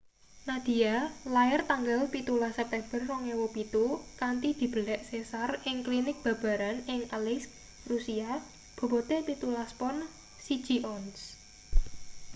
nadia lair tanggal 17 september 2007 kanthi dibelek sesar ing klinik babaran ing aleisk rusia bobote 17 pon 1 ons